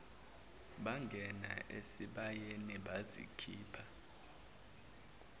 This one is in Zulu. bangena esibayeni bazikhipha